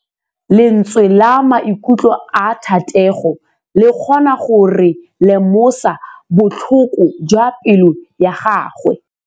Lentswe la maikutlo a Thategô le kgonne gore re lemosa botlhoko jwa pelô ya gagwe.